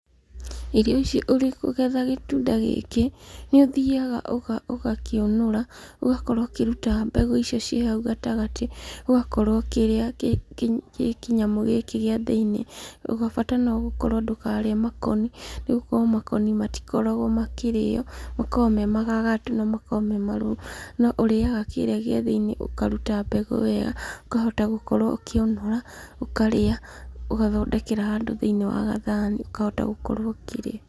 Irio ici ũrĩ kũgetha gĩtunda gĩkĩ, nĩ ũthiaga ũgakĩũnũra, ũgakorwo ũkĩruta mbegũ icio ciĩ hau gatagatĩ, ũgakorwo ũkĩrĩa kĩnyamũ gĩkĩ gĩa thĩiniĩ. Bata no gũkorwo ndũkarĩe makoni, nĩ gũkorwo makoni matikoragwo makĩrĩo, makoragwo me magagatu na makoragwo me marũrũ. Na ũrĩaga kĩĩrĩa gĩa thĩiniĩ, ũkaruta mbegũ ĩyo, ũkahota gũkorwo ũkĩũnũra, ũkarĩa, ũgathondekera handũ thĩiniĩ wa gathani ũkahota gũkorwo ũkĩrĩa.